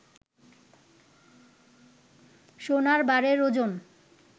সোনার বারের ওজন